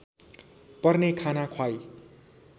पर्ने खाना ख्वाई